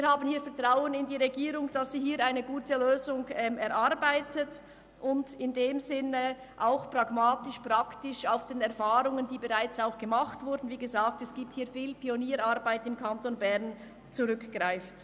Wir haben Vertrauen in die Regierung, dass diese eine gute Lösung erarbeitet und auf die praktischen Erfahrungen aus den besagten Pionierarbeiten zurückgreift.